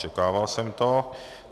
Očekával jsem to.